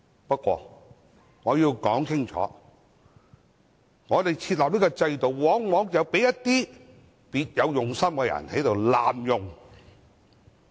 不過，我要說清楚，我們設立這項制度，往往被一些別有用心的人濫用。